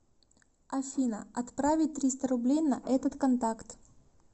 афина отправить триста рублей на этот контакт